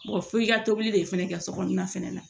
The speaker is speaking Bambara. f'i ka tobili de fɛnɛ kɛ sokɔnɔna fɛnɛ na